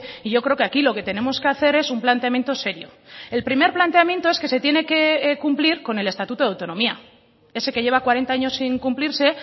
y yo creo que aquí lo que tenemos que hacer es un planteamiento serio el primer planteamiento es que se tiene que cumplir con el estatuto de autonomía ese que lleva cuarenta años sin cumplirse